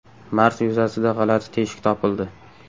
Mars yuzasida g‘alati teshik topildi.